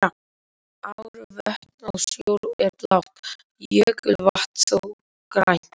Ár, vötn og sjór er blátt, jökulvatn þó grænt.